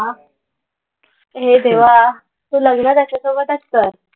हे देवा. तू लग्न त्याच्यासोबतच कर.